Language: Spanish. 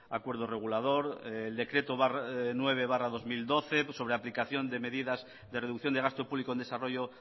acuerdo regulador el decreto nueve barra dos mil doce sobre aplicación de medidas de reducción de gasto público en desarrollo